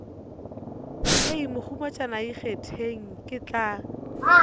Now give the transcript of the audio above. hei mohumagatšana ikgethele ke tla